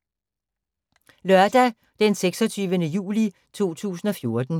Lørdag d. 26. juli 2014